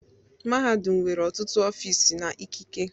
mahadum nwere ọtụtụ ọfịs na ikike.